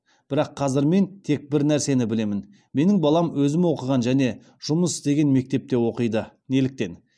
бірақ қазір мен тек бір нәрсені білемін менің балам өзім оқыған және жұмыс істеген мектепте оқиды неліктен